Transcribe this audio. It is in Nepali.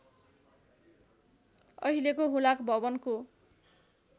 अहिलेको हुलाक भवनको